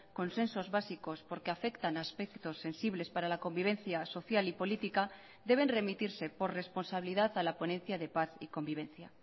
consensos básicos porqueafectan a aspectos sensibles para la convivencia social y política deben remitirse por responsabilidad a la ponencia de paz y convivencia